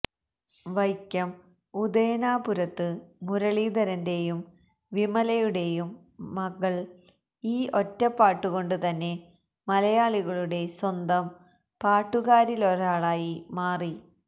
വൈക്കം ഉദയനാപുരത്ത് മുരളീധരന്റെയും വിമലയുടേയും മകള് ഈ ഒറ്റപ്പാട്ടുകൊണ്ട് തന്നെ മലയാളികളുടെ സ്വന്തം പാട്ടുകാരിലൊരാളായി മാറി